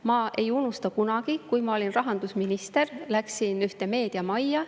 Ma ei unusta kunagi, kui ma olin rahandusminister ja läksin ühte meediamajja.